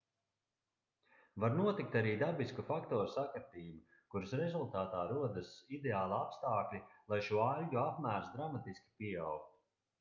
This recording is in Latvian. var notikt arī dabisku faktoru sakritība kuras rezultātā rodas ideāli apstākļi lai šo aļģu apmērs dramatiski pieaugtu